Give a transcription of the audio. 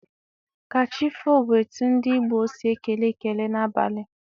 Ka chi foo bụ etu ndị Igbo si ekele ekele n'abalị.